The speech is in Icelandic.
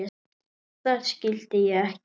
Þar skildi ég ekkert.